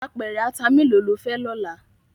Apèrè àtá méló ló fè lòlá?